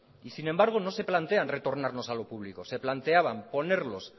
y sin embargo no se plantean retornarlos a lo público se planteaban ponerlos